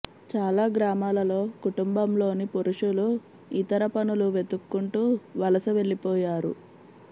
చాలా గ్రామాలలో కుటుంబంలోని పురుషులు ఇతర పనులు వెతుక్కుంటూ వలస వెళ్లిపోయారు